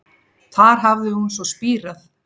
Þar hafi hún svo spírað